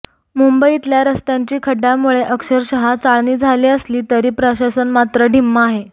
मुंबईतल्या रस्त्यांची खड्ड्यांमुळे अक्षरशः चाळणी झाली असली तरी प्रशासन मात्र ढिम्म आहे